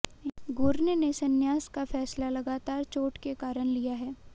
Gurney ने संन्यास का फैसला लगातार चोट के कारण लिया है